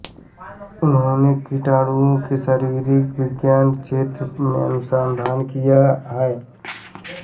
उन्होंने कीटाणुओं के शारिरिक विज्ञान के क्षेत्र में अनुसंधान किया है